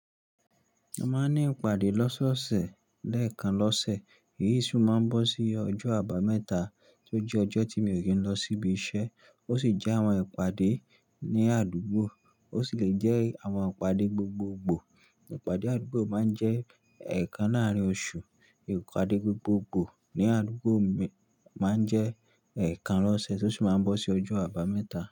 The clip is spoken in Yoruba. A máa ń ní ìpàdé lọ́sọ́ọ̀ọ̀sẹ̀, lẹ́ẹ̀kan lọ́sẹ̀. Èyí sì máa ń bọ́ sí ọjọ́ Àbámẹ́ta, tó jẹ́ ọjọ́ tí mi ò kì í n lọ síbi iṣẹ́ ó sì jẹ́ àwọn ìpàdé ní àdúgbò, ó sì lè jẹ́ àwọn ìpàdé gbogbogbò. Ipàdé àdúgbò má ń jẹ́ ẹ̀ẹ́kanláàárin oṣù, ìpàdé gbogbogbò ní àdúgbò má ń jẹ́ ẹ̀ẹ́kan lọ́sẹ̀ tó sì máa ń bọ́ sí ọjọ́ Àbámẹ́ta.